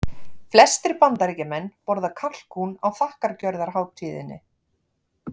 Flestir Bandaríkjamenn borða kalkún á þakkargjörðarhátíðinni.